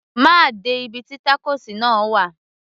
má de ibi tí tacos náà wà